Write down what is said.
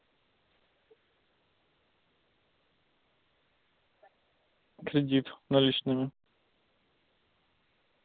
кредит наличными